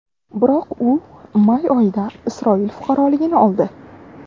Biroq u may oyida Isroil fuqaroligini oldi.